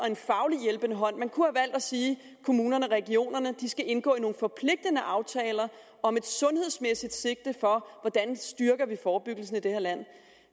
en fagligt hjælpende hånd man kunne have valgt at sige at kommunerne og regionerne skulle indgå nogle forpligtende aftaler om et sundhedsmæssigt sigte for hvordan vi styrker forebyggelsen i det her land